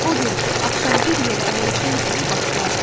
Odur ki, axşam bir yerə əyləşən kimi başlayardı.